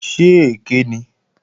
Ṣé èké ni?